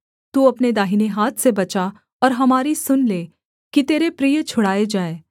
तू अपने दाहिने हाथ से बचा और हमारी सुन ले कि तेरे प्रिय छुड़ाए जाएँ